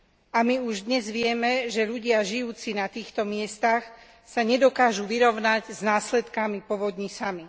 A my už dnes vieme, že ľudia žijúci na týchto miestach sa nedokážu vyrovnať s následkami povodní sami.